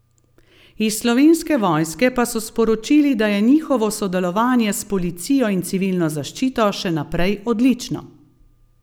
Iz Slovenske vojske pa so sporočili, da je njihovo sodelovanje s policijo in civilno zaščito še naprej odlično.